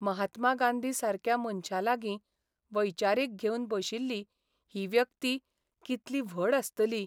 महात्मा गांधी सारक्या मनशालागीं वैचारीक घेवन बशिल्ली ही व्यक्ती कितली व्हड आसतली !